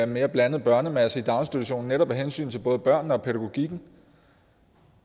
mere blandet børnemasse i daginstitutionen netop af hensyn til både børnene og pædagogikken